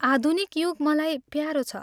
आधुनिक युग मलाई प्यारो छ।